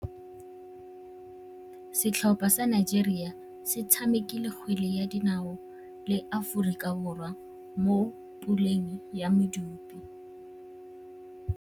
Setlhopha sa Nigeria se tshamekile kgwele ya dinaô le Aforika Borwa mo puleng ya medupe.